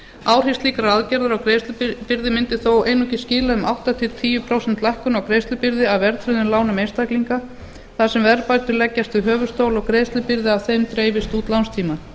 áhrif slíkrar aðgerðar á greiðslubyrði mundi þó einungis skila um átta prósent til tíu prósenta lækkun á greiðslubyrði af verðtryggðum lánum einstaklinga þar sem verðbætur leggjast við höfuðstól og greiðslubyrði af þeim dreifist út lánstímann